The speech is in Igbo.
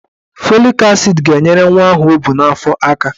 Fọlik asid ga-enyere nwa ahụ o bu n'afọ aka.